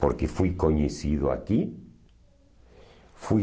Porque fui conhecido aqui. Fui